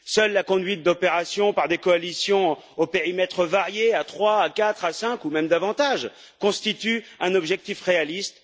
Seule la conduite d'opérations par des coalitions aux périmètres variés à trois, à quatre, à cinq, ou même davantage, constitue un objectif réaliste.